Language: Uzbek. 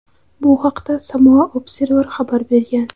Bu haqda "Samoa Observer" xabar bergan.